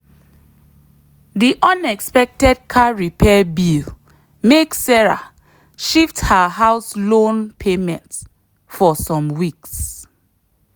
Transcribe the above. the unexpected car repair bill make sarah shift her house loan payment for some weeks.